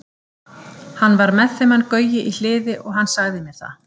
Hann var með þeim hann Gaui í Hliði og hann sagði mér það.